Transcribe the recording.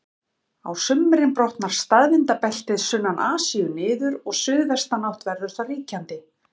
Á sumrin brotnar staðvindabeltið sunnan Asíu niður og suðvestanátt verður þar ríkjandi.